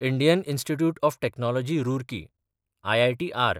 Indian institute of technology Roorkee (ITR)